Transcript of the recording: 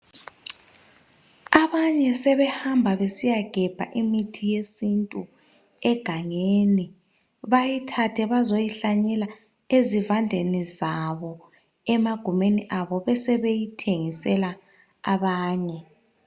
Abanye sebehamba besiya gebha imithi yesintu egangeni. Bayithathe bazoyihlanyela ezivandeni zabo, emagumeni abo besebeyithengisela abanye.